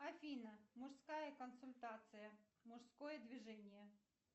афина мужская консультация мужское движение